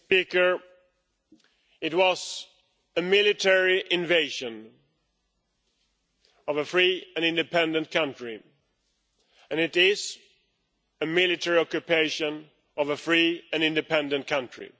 Mr President, it was a military invasion of a free and independent country, and it is a military occupation of a free and independent country.